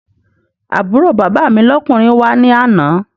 Àbúrò bàbá mi lọ́kùnrin wá ní àná